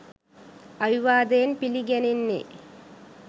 අවිවාදයෙන් පිළිගැනෙන්නේ